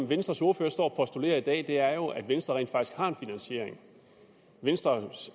venstres ordfører står og postulerer i dag er jo at venstre rent faktisk har en finansiering venstre